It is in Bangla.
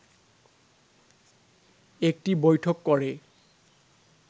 একটি বৈঠক করে